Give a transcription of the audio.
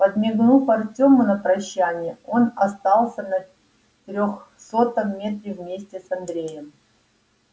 подмигнув артёму на прощание он остался на трёхсотом метре вместе с андреем